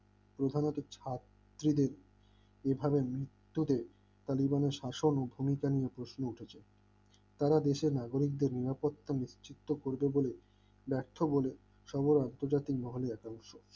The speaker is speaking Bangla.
প্রথমত ছাত্রীদের এভাবে মৃত্যুদের তালিবান শাসন উপমিতা নিয়ে প্রশ্ন উঠেছে তারা দেশের নাগরিকদের নিরাপত্তা নিশ্চিত করবে বলে ব্যর্থ বলে সমর আন্তর্জাতিক মহালয়া একাংশ